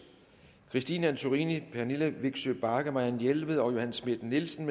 christine antorini pernille vigsø bagge marianne jelved og johanne schmidt nielsen